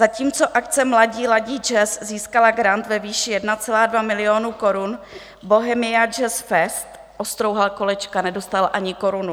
Zatímco akce Mladí ladí jazz získala grant ve výši 1,2 milionu korun, Bohemia JazzFest ostrouhal kolečka, nedostal ani korunu.